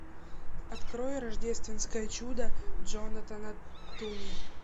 открой рождественское чудо джонатана туми